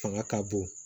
Fanga ka bon